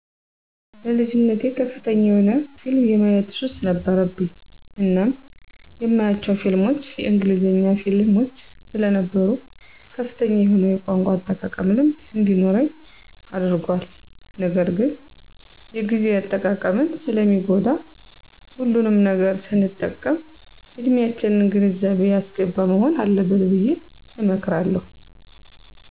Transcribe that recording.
በልጅነቴ ከፍተኛ የሆነ ፊልም የማየት ሱስ ነበረብኝ እናም የማያቸው ፊልሞች የእንግሊዘኛ ፊልሞች ሰለነበሩ ከፍተኛ የሆነ የቋንቋ አጠቃቀም ልምድ እንዲኖረኝ አድርጓል ነገርግን የግዜን አጠቃቀም ሰለሚጎዳ ሁሉንም ነገር ሰንጠቀም እድሚያችንን ግንዛቤ ያሰገባ መሆን አለበት ብየ እመክራለሁ።